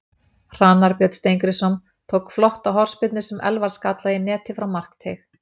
Hrannar Björn Steingrímsson tók flotta hornspyrnu sem Elfar skallaði í netið frá markteig.